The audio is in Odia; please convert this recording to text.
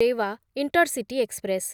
Rewa intercity express